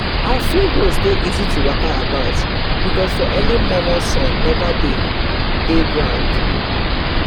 our field roads dey easy to waka about because for early momo sun never dey the ground